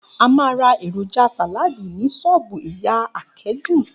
A máa ra èròjà sàláàdì ní s̩ó̩ò̩bù ìyá Àké̩jù